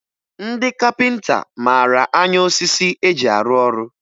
Ndị kapịnta mara anya osisi e ji arụ ọrụ